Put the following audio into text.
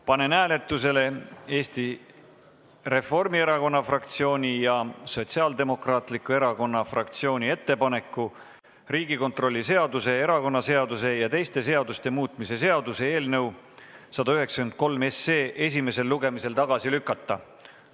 Panen hääletusele Eesti Reformierakonna fraktsiooni ja Sotsiaaldemokraatliku Erakonna fraktsiooni ettepaneku Riigikontrolli seaduse, erakonnaseaduse ja teiste seaduste muutmise seaduse eelnõu 193 esimesel lugemisel tagasi lükata.